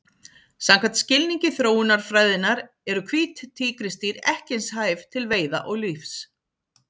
Samkvæmt skilningi þróunarfræðinnar eru hvít tígrisdýr ekki eins hæf til veiða og lífs.